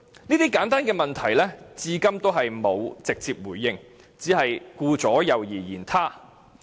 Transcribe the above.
這些簡單的問題，政府至今仍沒有直接回應，只是顧左右而言他。